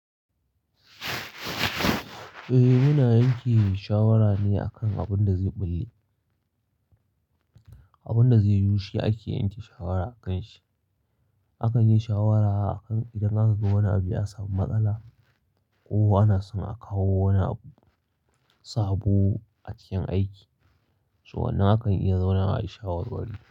Eh, muna yanke shawara ne a kan abin da zai ɓulle, abin da zai yiwu shi ake yanke shawara akanshi. Akan yi shawara idan aka ga wani abu ya samu matsala ko ana son a kawo wani sabo a cikin aiki, to wannan akan iya zauna a yi shawarwari.